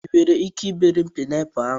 I nwere ike ibere m paịnapụlụ a?